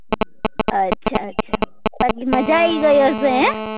અચ્છા અચ્છા બાકી મજા આયી ગઈ હશે હેન?